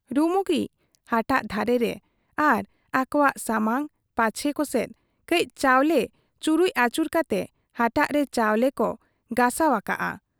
ᱨᱩᱢᱩᱜᱤᱡ ᱦᱟᱴᱟᱜ ᱫᱷᱟᱨᱮ ᱨᱮ ᱟᱨ ᱟᱹᱠᱚᱣᱟᱜ ᱥᱟᱢᱟᱝ ᱯᱟᱪᱮ ᱠᱚᱥᱮᱫ ᱠᱟᱹᱡ ᱪᱟᱣᱞᱮ ᱪᱩᱨᱩᱡ ᱟᱹᱪᱩᱨ ᱠᱟᱛᱮ ᱦᱟᱴᱟᱜ ᱨᱮ ᱪᱟᱣᱞᱮ ᱠᱚ ᱜᱚᱥᱟᱣ ᱟᱠᱟᱜ ᱟ᱾